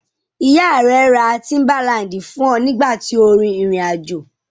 Ìyá rẹ ra tíḿbálaǹdì fún ọ nígbà tí o rin ìrìn-àjò.